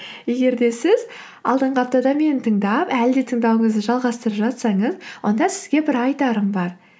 егер де сіз алдыңғы аптада мені тыңдап әлі де тыңдауыңызды жалғастырып жатсаңыз онда сізге бір айтарым бар